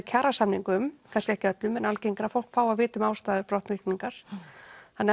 kjarasamningum kannski ekki öllum en algengara að fólk fái að vita ástæður brottvikningar þannig